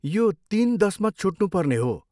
यो तिन दसमा छुट्नुपर्ने हो।